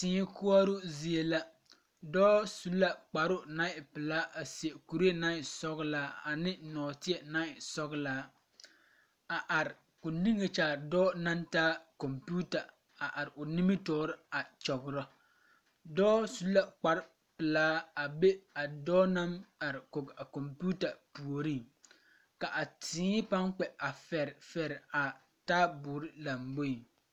Tee koɔroo zie la dɔɔ su la kparoo naŋ e pilaa a seɛ kuree naŋ e sɔglaa ne nɔɔteɛ naŋ e sɔglaa a are ko nige kyaare dɔɔ naŋ taa kɔmpiita a are o nimitɔɔre a kyɔgrɔ dɔɔ su la kpare pilaa a be a dɔɔ naŋ are kɔŋ a kɔmpiita puoriŋ ka a tee paŋ kpɛ fɛrefɛre a taabɔre lamboeŋ.